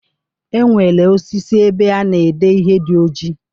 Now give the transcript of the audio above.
E nwere osisi ebe a na-ede ihe dị ojii.